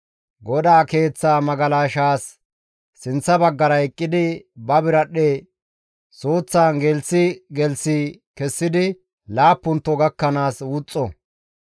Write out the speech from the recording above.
GODAA Keeththa magalashaas sinththa baggara eqqidi ba biradhdhe suuththaan gelththi gelththi kessidi laappunto gakkanaas wuxxo.